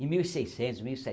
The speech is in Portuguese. Em mil e seiscentos, mil e